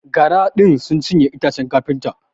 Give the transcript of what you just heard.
Gara din sun cinye itacen kafinta.